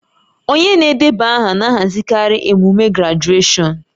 Onye na-edeba aha na-ahazikarị emume grajueshọn